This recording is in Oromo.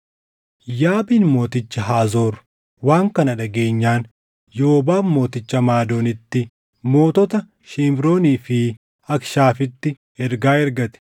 Yaabiin mootichi Haazoor waan kana dhageenyaan Yoobaab mooticha Maadoonitti, mootota Shimroonii fi Akshaafitti ergaa ergate;